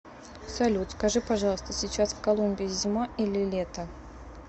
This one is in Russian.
салют скажи пожалуйста сейчас в колумбии зима или лето